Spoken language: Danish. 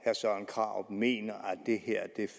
søren krarup mener at det her